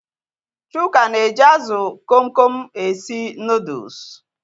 Chuka na-eji azụ Kom Kom esi nụdụlsu